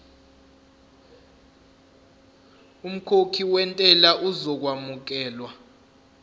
umkhokhi wentela uzokwamukelwa